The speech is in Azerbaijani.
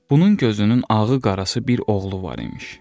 Bunun gözünün ağı-qarası bir oğlu var imiş.